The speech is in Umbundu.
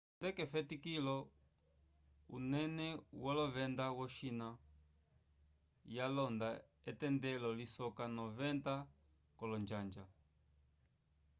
tunde k'efetikilo unene wolovenda yo-china yalonda etendelo lisoka 90 k'olonjanja